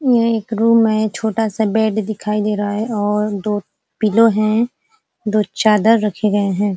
ये एक रूम है छोटा सा बेड दिखाई दे रहा है और दो पिलो हैं दो चादर रखे गए हैं।